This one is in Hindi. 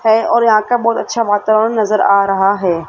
हैं और यहां का बहुत वातावरण अच्छा नजर आ रहा हैं।